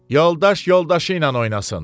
Yoldaş yoldaşı ilə oynasın.